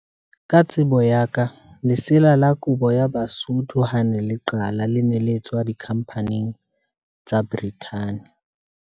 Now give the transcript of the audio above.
Ka tsebo ya ka lesela la kobo ya Basotho ha ne le qala, le ne le tswa di khampaning tsa Brithani.